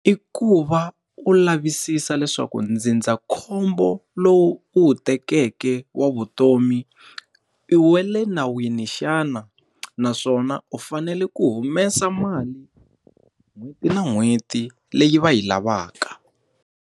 I ku va u lavisisa leswaku ndzindzakhombo lowu u wu tekeke wa vutomi, i wa le nawini xana naswona u fanele ku humesa mali n'hweti na n'hweti leyi va yi lavaka.